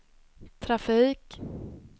trafik